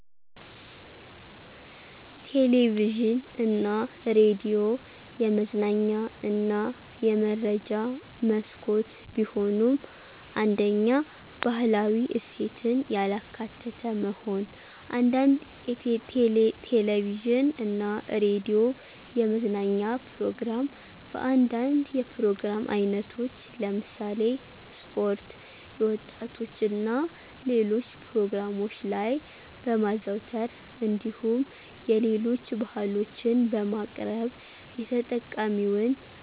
ቴሌቪዥን እና ሬዲዮ የመዝናኛ እና የመረጃ መስኮት ቢሆኑም፤ 1ኛ, ባህላዊ እሴትን ያላካተተ መሆን፦ አንዳንድ ቴለቪዥን እና ሬዲዮ የመዝናኛ ፕሮግራም በአንዳንድ የፕሮግራም አይነቶች ለምሳሌ ስፖርት፣ የወጣቶች እና ሌሎች ፕሮግራሞች ላይ በማዘውተር እንዲሁም የሌሎች ባህሎችን በማቅረብ የተጠቃሚውን